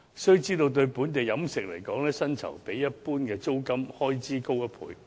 須知道，對本地飲食業來說，薪酬一般較租金開支高1倍。